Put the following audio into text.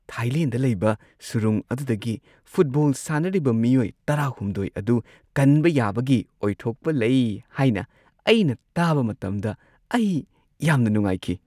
Thailand ꯂꯩꯕ ꯁꯨꯔꯨꯡ ꯑꯗꯨꯗꯒꯤ ꯐꯨꯠꯕꯣꯜ ꯁꯥꯟꯅꯔꯤꯕ ꯃꯤꯑꯣꯏ ꯱꯳ ꯑꯗꯨ ꯀꯟꯕ ꯌꯥꯕꯒꯤ ꯑꯣꯏꯊꯣꯛꯄ ꯂꯩ ꯍꯥꯏꯅ ꯑꯩꯅ ꯇꯥꯕ ꯃꯇꯝꯗ ꯑꯩ ꯌꯥꯝꯅ ꯅꯨꯡꯉꯥꯏꯈꯤ ꯫